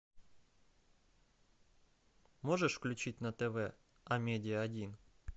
можешь включить на тв амедиа один